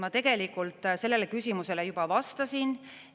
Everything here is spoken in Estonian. Ma tegelikult sellele küsimusele juba vastasin.